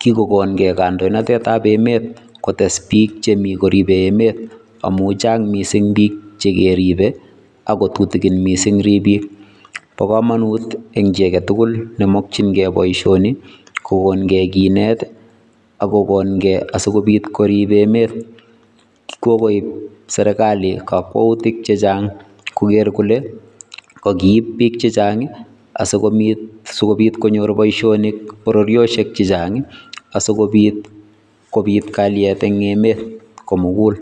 kikokongee kandoinatet ab emet kotesbiik che mi koribe emet amun chang missing biik che keribe ako tutikin missing riibik .Bo komonut eng chi agetugul nemokyingee boishoni kokongee kinet asikobiit koriib emet kokoib serkali kokwoutik chechang koker kole kokiit biik chechang asikobiit konyor boishonik bororiosiek chechang asikobiit kobiit kalyet eng emet komugul.